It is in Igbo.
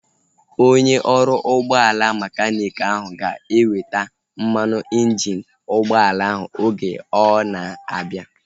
Onye ọrụ ụgbọala mekaniiki ahu ga-eweta mmanụ injini ụgbọala ahu oge ọ na-abịa